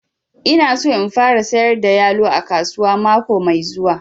Ina son in fara sayar da yalo a kasuwa mako mai zuwa